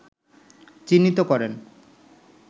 চিহ্নিত করেন